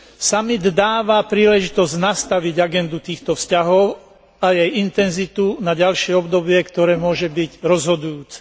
Samit dáva príležitosť nastaviť agendu týchto vzťahov a jej intenzitu na ďalšie obdobie, ktoré môže byť rozhodujúce.